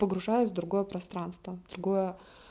погружаюсь в другое пространство другое